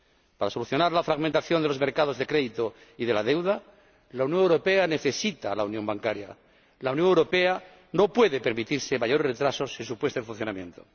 Para solucionar la fragmentación de los mercados de crédito y de la deuda, la Unión Europea necesita la unión bancaria. La Unión Europea no puede permitirse mayores retrasos en su puesta en funcionamiento.